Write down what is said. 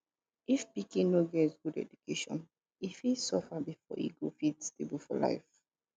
if pikin no get good education e fit suffer before e go fit stable for life